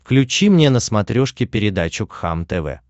включи мне на смотрешке передачу кхлм тв